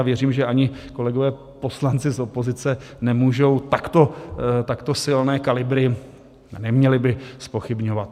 A věřím, že ani kolegové poslanci z opozice nemůžou takto silné kalibry - neměli by - zpochybňovat.